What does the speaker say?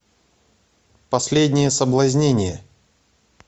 последнее соблазнение